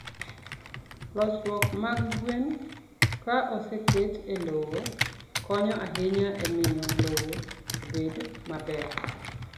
losruok mag gweno, ka oseket e lowo, konyo ahinya e miyo lowo obed maber.